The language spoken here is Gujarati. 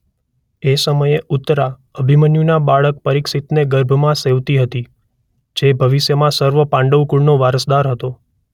એ સમયે ઉત્તરા અભિમન્યુનાં બાળક પરીક્ષિતને ગર્ભમાં સેવતી હતી જે ભવિષ્યમાં સર્વ પાંડવ કુળનો વારસદાર હતો.